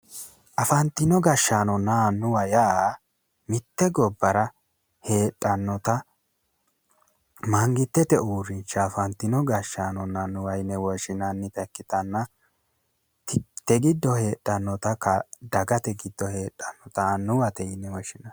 Afantino gashshaanonna annuwa yaa mitte gobbara heedhannota mangittete uurrinsha afantino gashshaano yine woshshinannita ikkitanna dagate giddo heedhannota annuwate tine woshshinanni